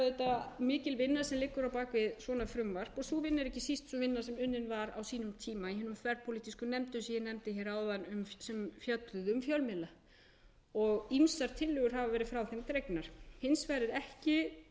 auðvitað mikil vinna sem liggur á bak við svona frumvarp og sú vinna er ekki síst sú vinna sem unnin var á sínum tíma í hinni þverpólitísku nefnd eins og ég nefndi hér áðan sem fjölluðu um fjölmiðla og ýmsar tillögur hafa verið frá þeim dregnar hins vegar er ekki tekið